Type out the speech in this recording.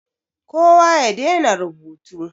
Kowa ya dena rubutu.